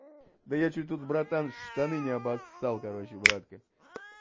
да я чуть тут братан штаны не обоссал короче братка